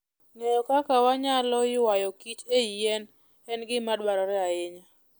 Ng'eyo kaka wanyalo ywayo kich e yien en gima dwarore ahinya.